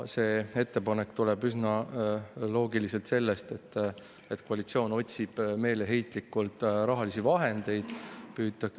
See ettepanek tuleb üsna loogiliselt sellest, et koalitsioon otsib meeleheitlikult rahalisi vahendeid.